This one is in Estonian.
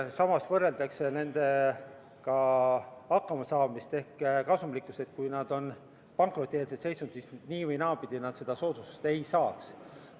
Samas võrreldakse nende hakkamasaamist ehk kasumlikkust, et kui nad on pankrotieelses seisus, siis nii või naa nad seda soodustust ei saaks.